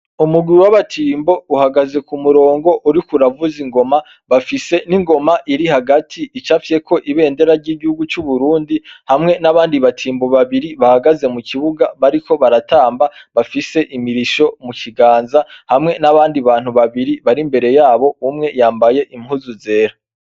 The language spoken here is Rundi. Umugwi w' abatimb' uhagaze k' umurong' urikuravuz' ingoma, bafise n' ingom' irihagat' icafyek' ibendera ry' igihugu cu Burundi, hamwe n'abandi batimbo babiri bahagaze mu kibuga, bariki baratamba bafis' imirisho mu kiganza, hamwe n'abandi bantu babiri bar' imbere yabo, umwe yambay' umupira wera n' ipantaro yirabura.